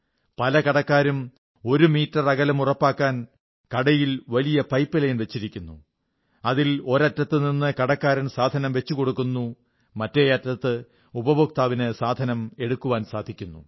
പല കടക്കാരും ആറടി അകലം ഉറപ്പാക്കാൻ കടയിൽ വലിയ പൈപ് ലൈൻ വച്ചിരിക്കുന്നു അതിൽ ഒരറ്റത്തുനിന്ന് കടക്കാരൻ സാധനം വച്ചുകൊടുക്കുന്നു മറ്റേ അറ്റത്ത് ഉപഭേക്താവിന് സാധനം എടുക്കാൻ സാധിക്കുന്നു